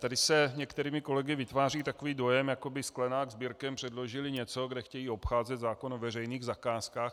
Tady se některými kolegy vytváří takový dojem, jako by Sklenák s Birkem předložili něco, kde chtějí obcházet zákon o veřejných zakázkách.